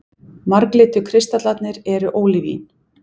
Marglitu kristallarnir eru ólívín.